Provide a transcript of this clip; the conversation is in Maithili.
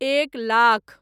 एक लाख